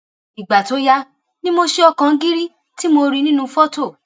ìgbà tó yá ni mo ṣe ọkàn gírí tí mo rí i nínú fọtò